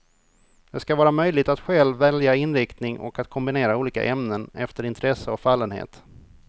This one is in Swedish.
Det ska vara möjligt att själv välja inriktning och att kombinera olika ämnen, efter intresse och fallenhet.